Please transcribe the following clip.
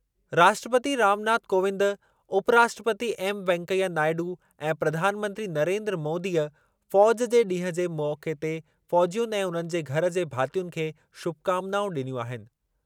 राष्ट्रपती रामनाथ कोविंद, उपराष्ट्रपती एम वेंकैया नायडू ऐं प्रधानमंत्री नरेन्द्र मोदीअ फ़ौज़ जे ॾींहुं जे मौक़े ते फ़ौज़ियुनि ऐं उन्हनि जे घर जे भातियुनि खे शुभकामनाऊं ॾिनियूं आहिनि।